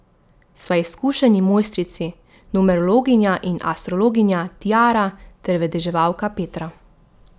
Sva izkušeni mojstrici, numerologinja in astrologinja Tiara ter vedeževalka Petra.